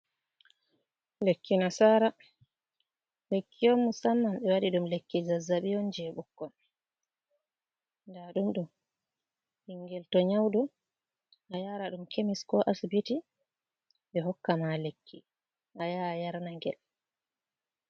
Lekki nasara lekki on musamman ɓe waɗi ɗum lekki zazabi on je ɓukkon, da ɗum do ɓingel to nyauɗo a yara ɗum kemis ko asibiti ɓe hokka ma lekki ayaa yarna gel.